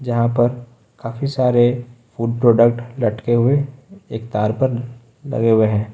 जहां पर काफी सारे फूड प्रोडक्ट लटके हुए एक तार पर लगे हुए हैं।